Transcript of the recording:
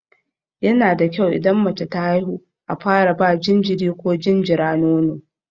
Yana da kyau idan mace ta haihu a fara ba jinjiri ko jinjira nono.